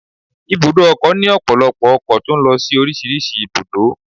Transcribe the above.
Ibùdó ọkọ̀ ni ọpọlọpọ ọkọ̀ tó ń lọ sí orísìírísìí ibùdó